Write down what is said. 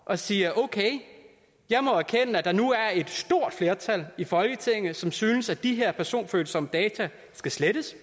og siger okay jeg må erkende at der nu er et stort flertal i folketinget som synes at de her personfølsomme data skal slettes